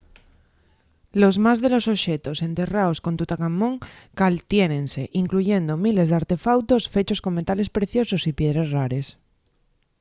los más de los oxetos enterraos con tutancamón caltiénense incluyendo miles d’artefautos fechos con metales preciosos y piedres rares